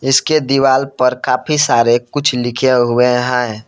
इसके दीवाल पर काफी सारे कुछ लिखे हुए हैं।